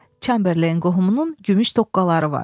Çamberleyn qohumunun gümüş toqqaları var.